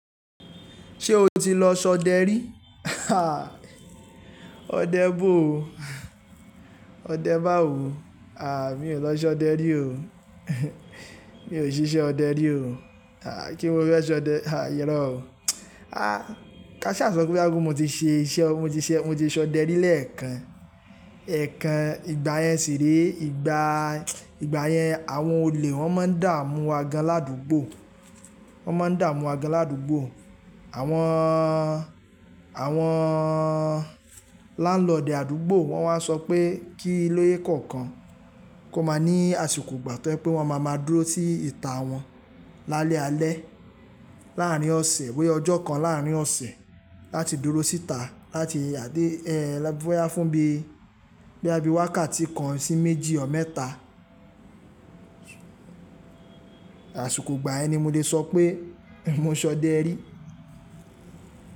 Ṣé o ti lọ ṣọdẹ rí? Ọdẹ bo o, ọdẹ báwo, àh mí ò lọ ṣọdẹ rí o, mi ò ṣiṣẹ́ ọdẹ rí o. Àh kí mo fẹ́ ṣọdẹ, àh irọ̀ o. Àh káṣà sọ pé bóyá wù mo ti ṣe iṣẹ́, mo ti ṣe, mo ti ṣọdẹ rí lẹ́ẹ̀kan. Ẹ̀ekan ìgbà yẹn si re, ìgbà, ìgbà yẹn àwọn olè wọn máa ń dààmú wa gan ládúgbò, wọn máa ń dààmú wa gan ládúgbò. Àwọn, àwọn lándlord àdúgbò wọ́n wá ń sọ pé kí ilé kọ̀ọ̀kan kó máa ní àsìkò ìgbà tó je pé wọ́n ma máa dúró sí ìta wọn lálẹ́ alẹ́ láàárín ọ̀sẹ̀, bóyá ọjọ́ kan láàárín ọ̀sẹ̀ láti dúró síta láti yàdé ẹ́, lo bóyá fún bií, bóyá bíi wákàtí kan sí méjì or mẹ́ta. Àsìkò ìgbà yẹn ni mo lè sọ pé mo ṣọdẹ rí.